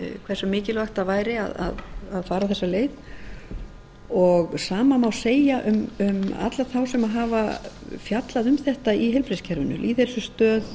hversu mikilvægt væri að fara þessa leið og sama má segja um alla þá sem hafa fjallað um þetta í heilbrigðiskerfinu lýðheilsustöð